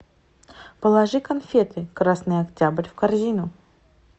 положи конфеты красный октябрь в корзину